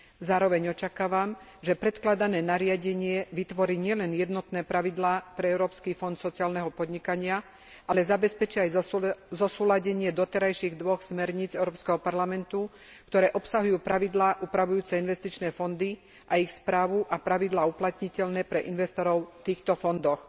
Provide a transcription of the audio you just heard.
Zároveň očakávam, že predkladané nariadenie vytvorí nielen jednotné pravidlá pre Európsky fond sociálneho podnikania, ale zabezpečí aj zosúladenie doterajších dvoch smerníc Európskeho parlamentu, ktoré obsahujú pravidlá upravujúce investičné fondy a ich správu a pravidlá uplatniteľné pre investorov v týchto fondoch.